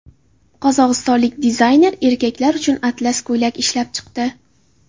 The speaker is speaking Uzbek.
Qozog‘istonlik dizayner erkaklar uchun atlas ko‘ylak ishlab chiqdi.